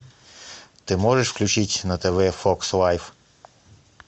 ты можешь включить на тв фокс лайв